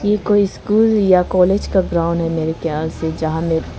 ये कोई स्कूल या कॉलेज का ग्राउंड है मेरे ख्याल से जहां में--